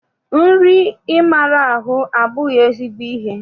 Nri ịmara ahụ abụghị ezigbo ihe.